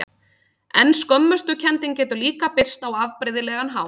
En skömmustukenndin getur líka birst á afbrigðilegan hátt.